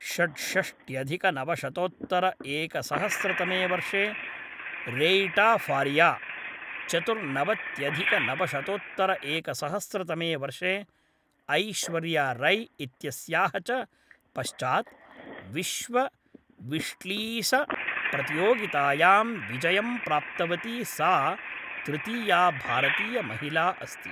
षड्षष्ट्यधिकनवशतोत्तरएकसहस्रतमे वर्षे रेइटा फारिया, चतुर्नवत्यधिकनवशतोत्तरएकसहस्रतमे वर्षे ऐश्वर्या रै इत्यस्याः च पश्चात् विश्वविश्लीसप्रतियोगितायां विजयं प्राप्तवती सा तृतीया भारतीयमहिला अस्ति ।